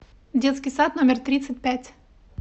детский сад номер тридцать пять